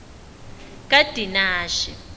kadinashe